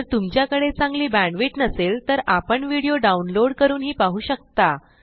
जर तुमच्याकडे चांगली बॅण्डविड्थ नसेल तर आपण व्हिडिओ डाउनलोड करूनही पाहू शकता